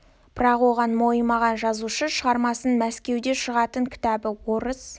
бірақ оған мойымаған жазушы шығармасын мәскеуде шығатын кітабы орыс